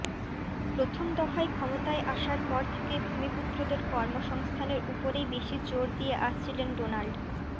প্রথম দফায় ক্ষমতায় আসার পর থেকেই ভূমিপুত্রদের কর্মসংস্থানের উপরই বেশি জোর দিয়ে আসছিলেন ডোনাল্ড